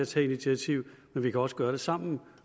tage initiativ men vi kan også gøre det sammen og